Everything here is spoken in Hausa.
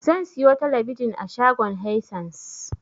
Zan siyo talabijin a shagon Haisens.